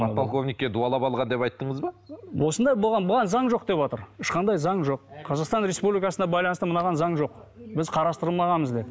подполковникке дуалап алған деп айттыңыз ба осындай болған бұған заң жоқ деватыр ешқандай заң жоқ қазақстан республикасына байланысты мынаған заң жоқ біз қарастырылмағанбыз деді